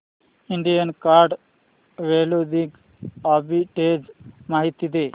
Indian card clothing arbitrage माहिती दे